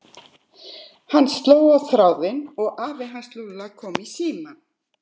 Hann sló á þráðinn og afi hans Lúlla kom í símann.